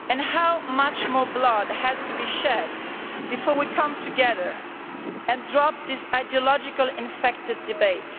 How much more blood has to be shed before we come together and drop this ideologically infected debate?